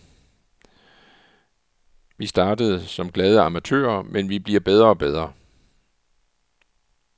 Vi startede som glade amatører, men vi bliver bedre og bedre.